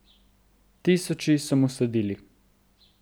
Tisoči so mu sledili.